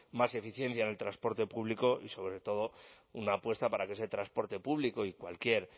más eficiencia en el transporte público y sobre todo una apuesta para que ese transporte público y cualquier